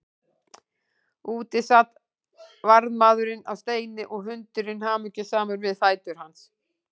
Úti sat varðmaðurinn á steini og hundurinn hamingjusamur við fætur hans.